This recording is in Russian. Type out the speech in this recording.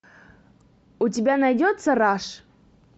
у тебя найдется раш